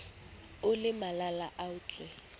o le malala a laotswe